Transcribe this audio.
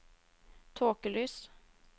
tåkelys